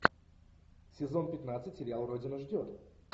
сезон пятнадцать сериал родина ждет